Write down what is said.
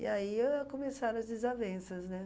E aí ãh começaram as desavenças, né?